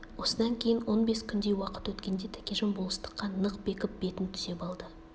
осыдан кейін он бес күндей уақыт өткенде тәкежан болыстыққа нық бекіп бетін түзеп алды